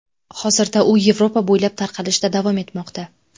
Hozirda u Yevropa bo‘ylab tarqalishda davom etmoqda .